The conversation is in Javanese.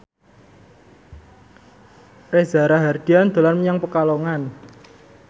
Reza Rahardian dolan menyang Pekalongan